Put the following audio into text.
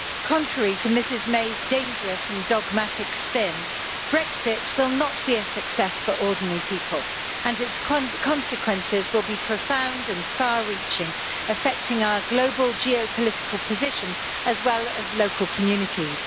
Contrary to Mrs May's dangerous and dogmatic spin, Brexit will not be a success for ordinary people and its consequences will be profound and far reaching, affecting our global geopolitical position, as well as local communities.